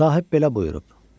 Sahib belə buyurub.